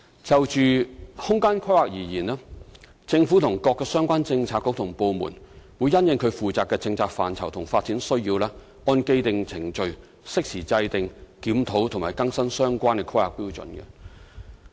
就空間規劃而言，政府與各相關政策局和部門，會因應其負責的政策範疇及發展需要，按既定程序，適時制訂、檢討及更新相關的《香港規劃標準與準則》。